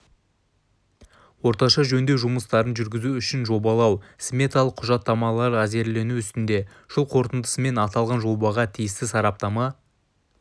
орташа жөндеу жұмыстарын жүргізу үшін жобалау-сметалық құжаттамалар әзірлену үстінде жыл қорытындысымен аталған жобаға тиісті сараптама